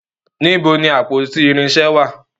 Níbo ni àpótí irinṣẹ́ wà?